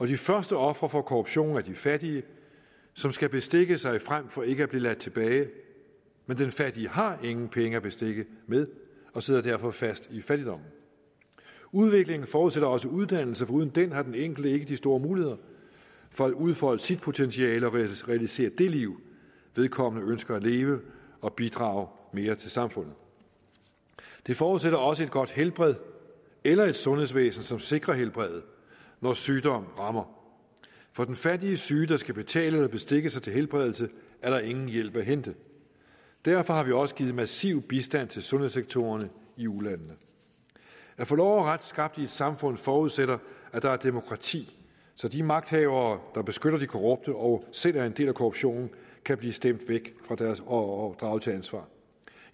de første ofre for korruption er de fattige som skal bestikke sig frem for ikke at blive ladt tilbage men den fattige har ingen penge at bestikke med og sidder derfor fast i fattigdommen udviklingen forudsætter også uddannelse for uden den har den enkelte ikke de store muligheder for at udfolde sit potentiale og realisere det liv vedkommende ønsker at leve og bidrage mere til samfundet det forudsætter også et godt helbred eller et sundhedsvæsen som sikrer helbredet når sygdom rammer for den fattige syge der skal betale eller bestikke sig til helbredelse er der ingen hjælp at hente derfor har vi også givet massiv bistand til sundhedssektorerne i ulandene at få lov og ret skabt i et samfund forudsætter at der er demokrati så de magthavere der beskytter de korrupte og selv er en del af korruptionen kan blive stemt væk og og draget til ansvar